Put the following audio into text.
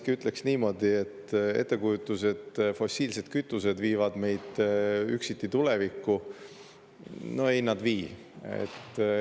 Ma ütleksin ettekujutuse kohta, nagu fossiilsed kütused viiksid meid üksiti tulevikku, et no ei nad vii.